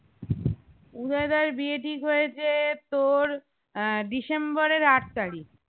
উদয় দার বিয়ে ঠিক হয়েছে তোর আহ ডিসেম্বরের আট তারিক